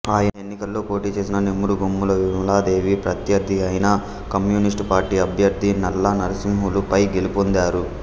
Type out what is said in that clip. ఆ ఎన్నికలలో పోటీ చేసిన నెమురుగోమ్ముల విమలాదేవి ప్రత్యర్థి అయిన కమ్యూనిస్టు పార్టీ అభ్యర్థి నల్ల నర్శింహులు పై గెలుపొందారు